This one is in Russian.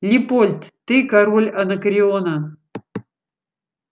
лепольд ты король анакреона